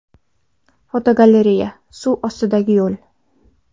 Fotogalereya: Suv ostidagi yo‘l.